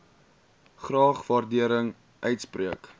graag waardering uitspreek